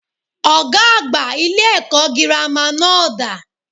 Ògá àgbà ilé èkó girama náà dà?